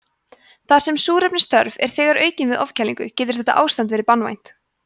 þar sem súrefnisþörf er þegar aukin við ofkælingu getur þetta ástand verið banvænt